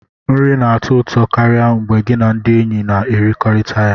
Nri na-atọ ụtọ karịa mgbe gị na ndị enyi na-ekekọrịta ya